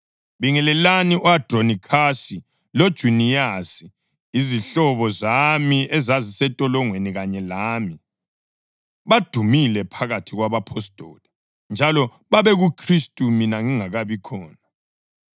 Bingelelani u-Andronikhasi loJuniyasi, izihlobo zami ezazisentolongweni kanye lami. Badumile phakathi kwabapostoli, njalo babekuKhristu mina ngingakabi khona.